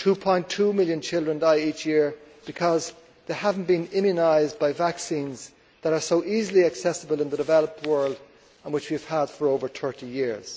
2.2 million children die each year because they have not been immunised by vaccines that are so easily accessible in the developed world and which we have had for over 30 years.